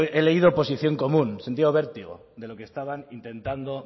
he leído posición común he sentido vértigo de lo que estaban intentando